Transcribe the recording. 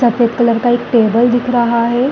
सफ़ेद कलर का एक टेबल दिख रहा हैं।